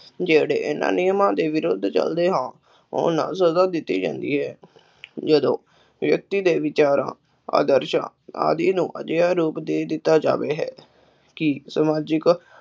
ਜਿਹੜੇ ਇਹਨਾ ਨਿਯਮਾਂ ਦੇ ਵਿਰੁੱਧ ਚੱਲਦੇ ਹਨ ਉਹਨਾ ਨੂੰ ਸਜ਼ਾ ਦਿੱਤੀ ਜਾਂਦੀ ਹੈ ਜਦੋਂ ਵਿਅਕਤੀ ਦੇ ਵਿਚਾਰਾਂ, ਆਦਰਸ਼ਾਂ ਆਦਿ ਨੂੰ ਅਜਿਹਾ ਰੂਪ ਦੇ ਦਿੱਤਾ ਜਾਵੇ ਹੈ ਕਿ ਸਮਾਜਿਕ